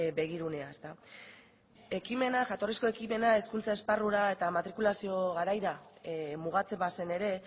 begirunea jatorrizko ekimena hizkuntza esparrura eta matrikulazio garaira mugatzen bazen ere